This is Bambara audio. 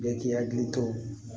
Bɛɛ k'i hakili to